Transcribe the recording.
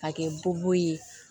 K'a kɛ bu ye